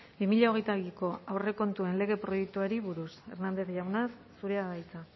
bi mila hogeita biko aurrekontuen lege proiektuari buruz hernández jauna zurea da hitza